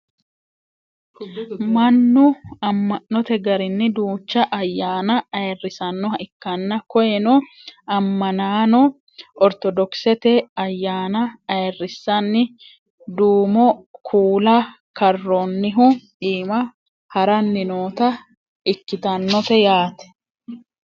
mannu amma'note garinni duucha ayyaana ayeerrisannoha ikkanna koyeeno ammanaano ortodokisete ayyaana ayerrissanni duumo kuula karroonnihu iima haranni noota ikkitannote yaate